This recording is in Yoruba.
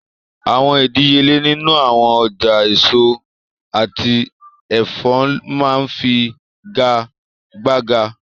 Awọn idiyele ninu awọn ọja eso ati ẹfọ maa nfigagbaga